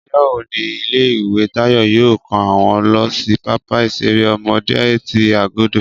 Ọjọ́ wo ni ilé ìwé Táyọ̀ yóò kó wọn lọ sí pápá ìṣeré ọmọdé ti Agodi